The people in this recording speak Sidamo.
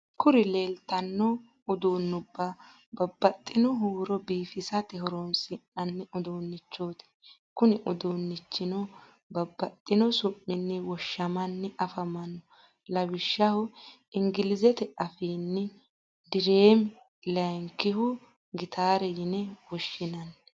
Kuri lelitano udunuba babtitino hurro biffisate horonisinanni udunichoti. Kuni udunichino babtino su’mini woshshamani affamanao lawishshho engilizete affini dirreme layinkihu gitare yine woshshinanni.